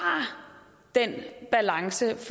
den balance